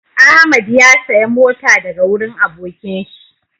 Ahmad ya saya mota daga wurin abokin shi